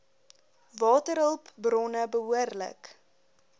waterhulp bronne behoorlik